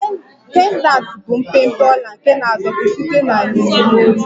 Pendanti bụ mpempe ọla nke na-adọkpụ site na yinye n'olu